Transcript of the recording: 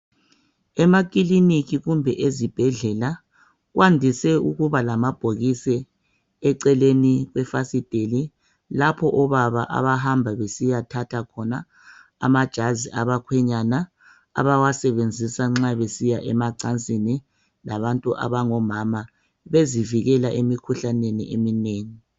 Emakilinika kumbe ezibhedlela kwandise ukuba lamabhokisi eceleni kwefasiteli lapho obaba abahamba besiyathatha khona amajazi abakhwenyana abawasebenzisa nxa besiya emacansini labantu abangomama bezivikela emikhuhlaneni eminengi